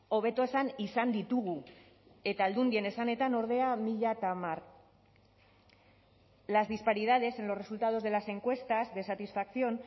hobeto esan izan ditugu eta aldundien esanetan ordea mila hamar las disparidades en los resultados de las encuestas de satisfacción